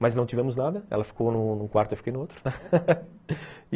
Mas não tivemos nada, ela ficou num quarto e eu fiquei em outro.